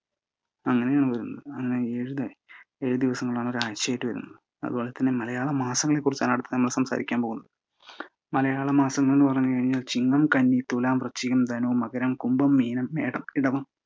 അങ്ങനെയാണ് വരുന്നത് ഏഴു ദിവസങ്ങളാണ് ഒരാഴ്ചയായിട്ട് വരുന്നത്. അതുപോലെതന്നെ മലയാള മാസങ്ങളെക്കുറിച്ചാണ് നമ്മൾ അടുത്തതായി സംസാരിക്കാൻ പോകുന്നത്. മലയാള മാസങ്ങൾ എന്നു പറഞ്ഞുകഴിഞ്ഞാൽ ചിങ്ങം, കന്നി, തുലാം, വൃശ്ചികം, ധനു, മകരം, കുഭം, മീനം, മേടം, എടവം